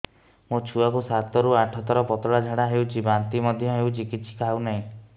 ମୋ ଛୁଆ କୁ ସାତ ରୁ ଆଠ ଥର ପତଳା ଝାଡା ହେଉଛି ବାନ୍ତି ମଧ୍ୟ୍ୟ ହେଉଛି କିଛି ଖାଉ ନାହିଁ